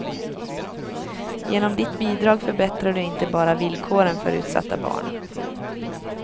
Genom ditt bidrag förbättrar du inte bara villkoren för utsatta barn.